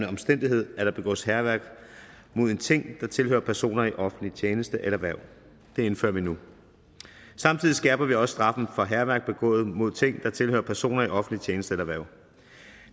omstændighed at der begås hærværk mod en ting der tilhører personer i offentlig tjeneste eller hverv det indfører vi nu samtidig skærper vi også straffen for hærværk begået mod ting der tilhører personer i offentlig tjeneste eller hverv